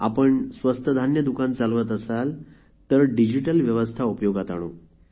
आपण स्वस्त धान्य दुकान चालवत असाल तर डिजिटल व्यवस्था उपयोगात आणू